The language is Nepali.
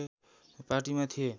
पार्टीमा थिए